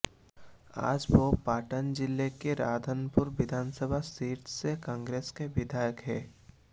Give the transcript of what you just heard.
आज वो पाटन जिले की राधनपुर विधानसभा सीट से कांग्रेस के विधायक हैं